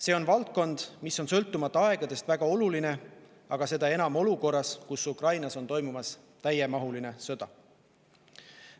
See valdkond on sõltumata aegadest väga oluline, aga veel enam olukorras, kus Ukrainas toimub täiemahuline sõda.